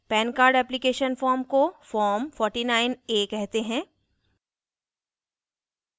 pan card application form को form 49a कहते हैं